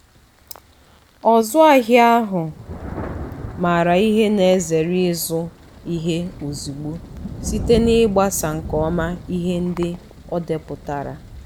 ọzụahia ahụ maara ihe na-ezere ịzụ ihe ozugbo site n'igbaso nke ọma ihe ndị odepụtarala.